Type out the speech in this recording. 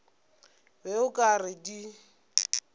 be o ka re di